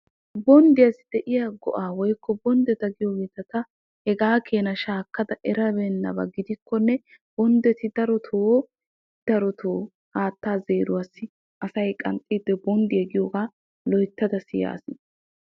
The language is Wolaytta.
Bonddiya de'iya go'ay ta eriyabba giddenan ixxikkonne asay haatta zeeriyo wode bonddiya giyooga siyaas.